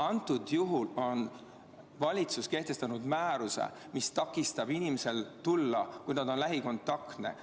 Antud juhul on valitsus kehtestanud määruse, mis takistab inimesel kohale tulla, kui ta on lähikontaktne.